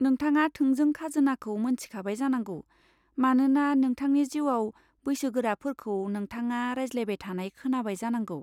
नोंथाङा थोंजों खाजोनाखौ मोन्थिखाबाय जानांगौ मानोना नोंथांनि जिउआव बैसोगोराफोरखौ नोंथाङा रायज्लायबाय थानाय खोनाबाय जानांगौ।